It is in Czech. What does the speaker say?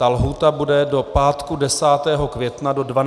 Ta lhůta bude do pátku 10. května do 12 hodin.